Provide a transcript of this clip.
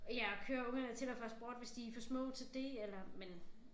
Ja og køre ungerne til og fra sport hvis de for små til det eller men